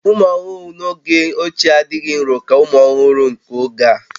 Ụmụ ọhụrụ n'oge ochie adịghị nrò ka ụmụ ọhụrụ nke oge a